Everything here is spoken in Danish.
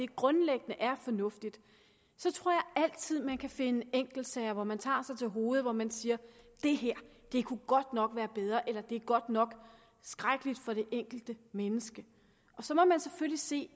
grundlæggende er fornuftigt så tror jeg altid at man kan finde enkeltsager hvor man tager sig til hovedet og hvor man siger at det her godt nok kunne være bedre eller at det godt nok er skrækkeligt for det enkelte menneske så må man selvfølgelig se